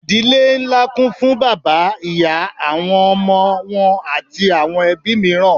Ìdílé ńlá kún fún bàbá, ìyá, àwọn ọmọ wọn àti àwọn ẹbí mìíràn.